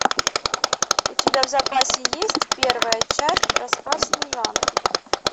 у тебя в запасе есть первая часть рассказ служанки